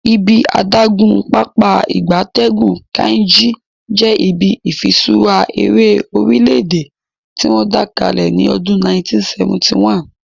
Ibi adagun Pápá ìgbatẹ́gùn Kainji je ibi ifiṣura ere orile-ede tiwon da kale ni odun 1971